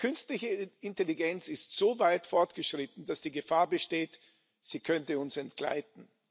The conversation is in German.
Die künstliche Intelligenz ist so weit fortgeschritten, dass die Gefahr besteht, sie könnte uns entgleiten.